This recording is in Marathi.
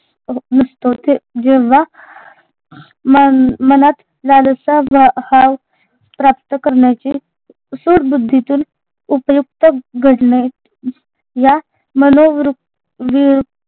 जेव्हा मन मनात लालसा आ भाव प्राप्त करण्याची सुरबुद्धीतून उपयुक्त घडणे या मनोवृत्त